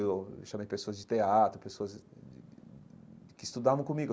Eu chamei pessoas de teatro, pessoas que estudavam comigo.